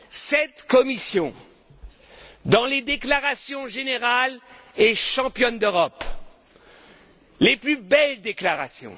Cette Commission, dans les déclarations générales, est championne d'Europe. Les plus belles déclarations.